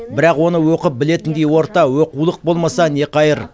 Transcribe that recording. бірақ оны оқып білетіндей орта оқулық болмаса не қайыр